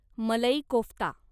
malai kofta